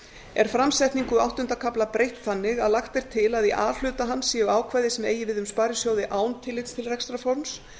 er framsetningu áttunda kafla breytt þannig að lagt er til að í a hluta hans séu ákvæði sem eigi við um sparisjóði án tillits til rekstrarforms